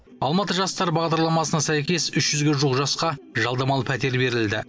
алматы жастары бағдарламасына сәйкес үш жүзге жуық жасқа жалдамалы пәтер берілді